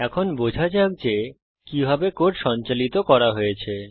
এখন বোঝা যাক যে কিভাবে কোড সঞ্চালিত করা হয়েছে